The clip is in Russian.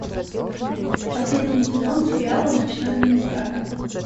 последний сезон сериала ночной администратор